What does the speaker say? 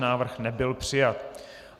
Návrh nebyl přijat.